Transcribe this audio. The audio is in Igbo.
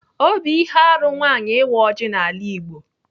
Ọ bụ ihe arụ nwaanyị ịwa ọjị n'ala Igbo.